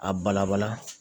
A bala bala